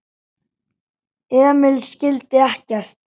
Emil skildi ekkert.